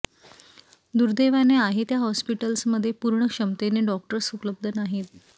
दुर्दैवाने आहे त्या हॉस्पिटल्समध्ये पूर्ण क्षमतेने डॉक्टर्स उपलब्ध नाहीत